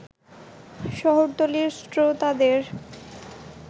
শহরতলীর শ্রোতাদের